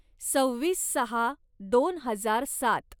सव्वीस सहा दोन हजार सात